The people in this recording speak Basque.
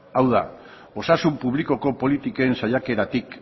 hau da osasun publikoko politiken saiakeratik